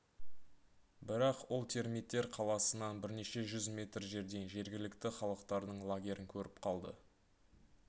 бірақ ол термиттер қаласынан бірнеше жүз метр жерден жергілікті халықтардың лагерін көріп қалды